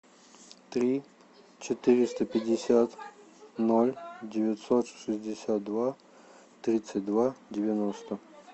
три четыреста пятьдесят ноль девятьсот шестьдесят два тридцать два девяносто